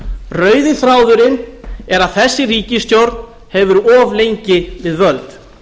rauði þráðurinn er að þessi ríkisstjórn hefur verið of lengi við völd